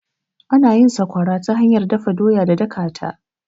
Ana yin sakwara ta hanyar dafa doya da dakata.